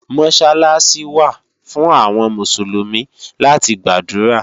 Mọ́sálásí wà fún àwọn Mùsùlùmí láti gbàdúrà